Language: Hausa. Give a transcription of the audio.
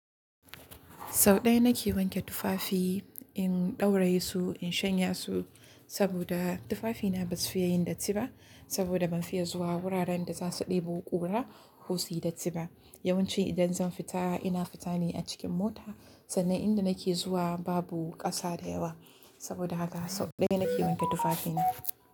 Sau ɗaya na ke wanke tufafi, in ɗauraye su, in shanya su saboda tufafina ba su fiya yin datti ba saboda ban fiya zuwa wuraren da za su ɗebo ƙura ko su yi datti ba. Yawanci idan zan fita ina fita ne a cikin mota sannan inda na ke zuwa babu ƙasa da yawa. Saboda haka sau ɗaya na ke wanke tufafina.